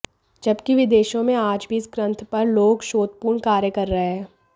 जबकि विदेशों में आज भी इस ग्रंथ पर लोग शोधपूर्ण कार्य कर रहे हैं